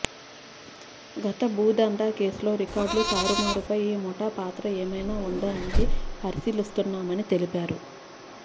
గత భూదందా కేసులో రికార్డులు తారుమారుపై ఈ ముఠా పాత్ర ఏమైనా ఉందా అన్నది పరిశీలిస్తున్నమని తెలిపారు